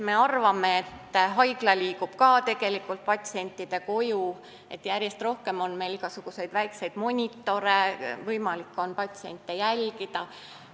Me arvame, et haigla liigub tegelikult patsiendi koju, järjest rohkem on meil igasuguseid väikeseid monitore, st on võimalik inimest distantsilt jälgida.